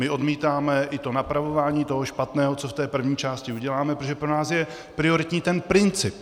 My odmítáme i to napravování toho špatného, co v té první části uděláme, protože pro nás je prioritní ten princip.